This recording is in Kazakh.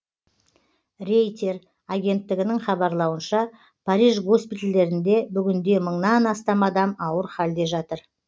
рейтер агенттігінің хабарлауынша париж госпитальдерінде бүгінде мыңнан астам адам ауыр халде жатыр